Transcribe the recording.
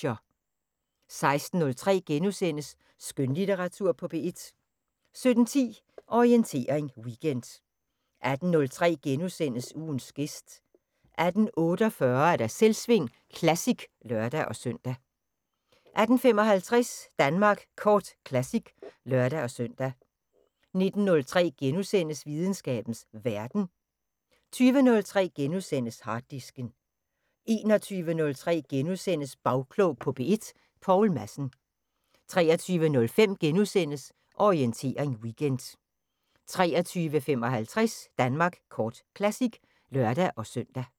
16:03: Skønlitteratur på P1 * 17:10: Orientering Weekend 18:03: Ugens gæst * 18:48: Selvsving Classic (lør-søn) 18:55: Danmark Kort Classic (lør-søn) 19:03: Videnskabens Verden * 20:03: Harddisken * 21:03: Bagklog på P1: Poul Madsen * 23:05: Orientering Weekend * 23:55: Danmark Kort Classic (lør-søn)